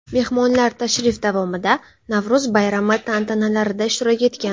Mehmonlar tashrif davomida Navro‘z bayrami tantanalarida ishtirok etgan.